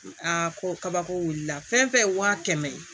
Aa ko kabako wulila fɛn fɛn ye wa kɛmɛ ye